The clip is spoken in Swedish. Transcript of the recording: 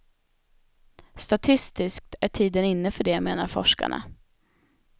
Statistiskt är tiden inne för det, menar forskarna.